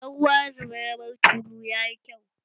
Idan ruwa ya zuba ya bar tulu, yayi kyau